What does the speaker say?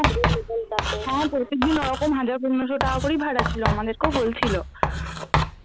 হ্যাঁ প্রত্যেকদিন ওরকম হাজার পনেরশো টাকা করেই ভাড়া ছিল আমাদেরকেও বলছিল।